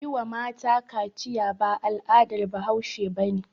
Yi wa mata kaciya ba al'adar bahause bane